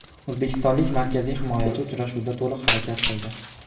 O‘zbekistonlik markaziy himoyachi uchrashuvda to‘liq harakat qildi.